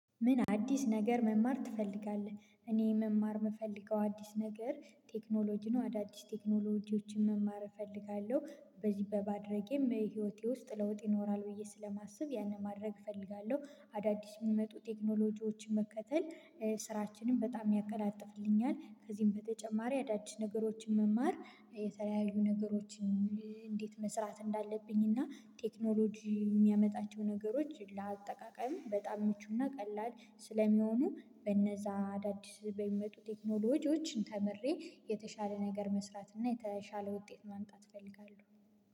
ምን? አዲስ ነገር መማር ትፈልጋለህ እኔ መማር የምፈልገው አዲስ ነገር ቴክኖሎጂን አዳዲስ ቴክኖሎጂዎችን መማር እፈልጋለሁ በዚህ በማድረጌም ህይወቴ ውስጥ ለውጥ ይኖራል ብዬ ስለማስብ ያንን ማድረግ እፈልጋለሁ አዳዲስ የሚመጡ ቴክኖሎጂዎችን መከተል። ስራችንን በጣም ያቀላጥፍልኛል ከዚህም በተጨማሪ አዳዲስ ነገሮችን መማር የተለያዩ ነገሮችን። እንዴት መስራት እንዳለብኝ እና ቴክኖሎጂ የሚያመጣቸው ነገሮች ለአጠቃቀም በጣም ምቹና ቀላል ስለሚሆኑ በነዛ አዳዲስ በሚመጡ ቴክኖሎጂዎችን ተምሬ የተሻለ ነገር መስራት እና የተሻለ ውጤት ማምጣት እፈልጋለሁ።